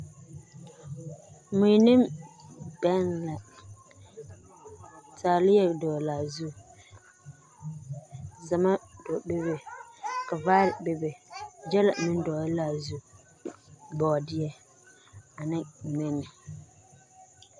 Mui ne bɛŋ la taaliɛ dɔglaa zu zamma bebe ka vaare bebe gyɛllɛ meŋ dɔgle laa zu bɔɔdeɛ ane nɛnne.